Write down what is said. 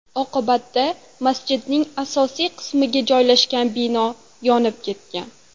Oqibatda masjidning asosiy qismi joylashgan bino yonib ketgan.